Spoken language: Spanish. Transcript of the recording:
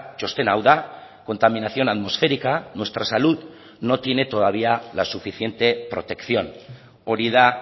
txostena hau da contaminación atmosférica nuestra salud no tiene todavía la suficiente protección hori da